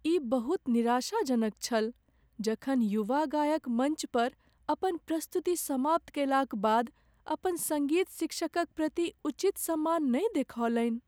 ई बहुत निराशा जनक छल जखन युवा गायक मञ्च पर अपन प्रस्तुति समाप्त कयलाक बाद अपन सङ्गीत शिक्षकक प्रति उचित सम्मान नहि देख़ौलनि।